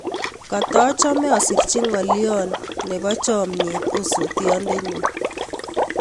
Katachome asirji ng'olyon nebo chamnyet osotiondenyun